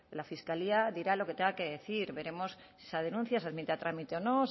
la fiscalía dirá lo que tenga que decir veremos si esa denuncia se admite a trámite o no